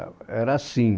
É, era assim.